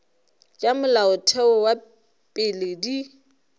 tša molaotheo wa pele di